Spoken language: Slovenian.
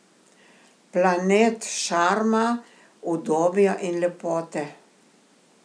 Planet šarma, udobja in lepote.